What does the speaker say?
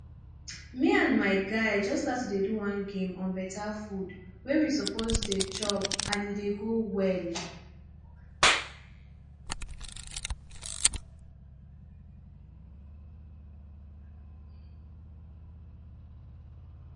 me and my guys just start to do one game on better food wey we suppose dey chop and e dey go well